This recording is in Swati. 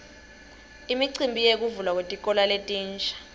imicimbi yekuvulwa kwetikolo letintsa